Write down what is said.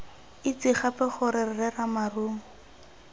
itse gape gore rre ramarumo